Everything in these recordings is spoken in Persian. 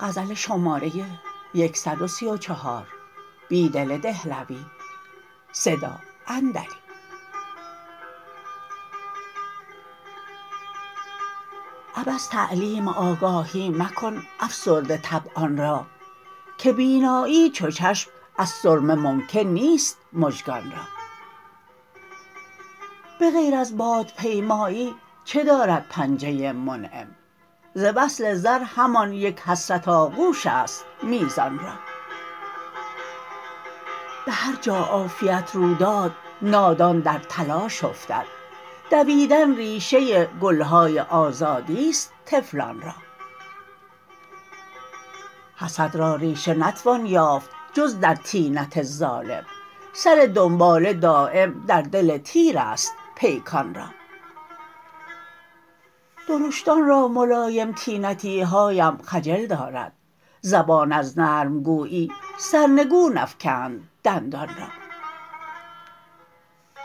عبث تعلیم آگاهی مکن افسرده طبعان را که بینایی چو چشم ازسرمه ممکن نیست مژگان را به غیر ز بادپیمایی چه دارد پنجه منعم ز وصل زرهمان یک حسرت آغوش است میزان را به هرجا عافیت رو داد نادان در تلاش افتد دویدن ریشه گلهای آزادی ست طفلان را حسد را ریشه نتوان یافت جزدر طینت ظالم سر دنباله دایم در دل تیر است پیکان را درشتان را ملایم طینتیهایم خجل دارد زبان از نرمگویی سرنگون افکند دندان را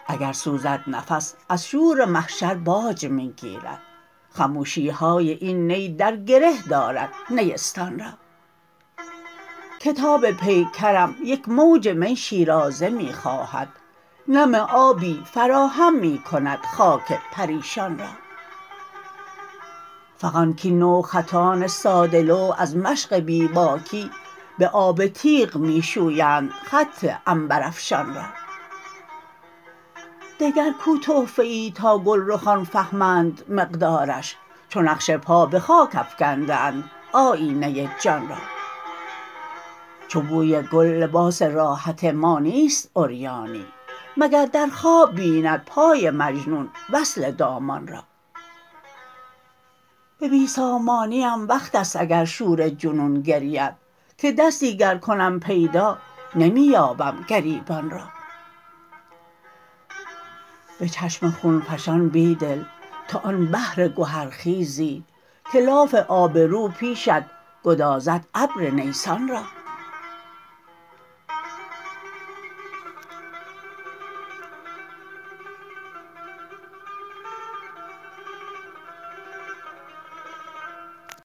اگر سوزد نفس از شور محشرباج می گیرد خموشیهای این نی درگره دارد نیستان را کتاب پیکرم یک موج می شیرازه می خواهد نم آبی فراهم می کند خاک پریشان را فغان کاین نوخطان ساده لوح از مشق بیباکی به آب تیغ می شویند خط عنبرافشان را دگرکو تحفه ای تا گلرخان فهمند مقدارش چو نقش پا به خاک افکنده اند آیینه جان را چو بوی گل لباس راحت ما نیست عریانی مگر درخواب بیندپای مجنون وصل دامان را به بی سامانی ام وقت است اگر شور جنون گرید که دستی گرکنم پیدا نمی یابم گریبان را به چشم خونفشان بیدل توآن بحرگوهرخیزی که لاف آبرو پیشت گدازد ابر نیسان را